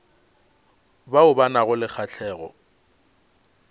bao ba nago le kgahlego